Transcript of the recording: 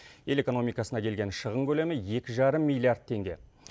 ел экономикасына келген шығын көлемі екі жарым миллиард теңге